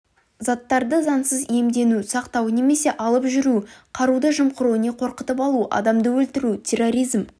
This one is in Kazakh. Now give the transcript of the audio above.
заттарды заңсыз иемдену сақтау немесе алып жүру қаруды жымқыру не қорқытып алу адам өлтіру терроризм